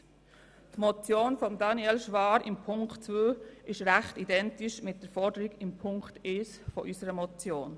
Die Motion von Daniel Schwaar ist in der Ziffer 2 ziemlich identisch mit der Forderung von Ziffer 1 unserer Motion.